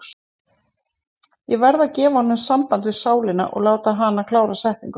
Ég verð að gefa honum samband við sálina og láta hana klára setninguna.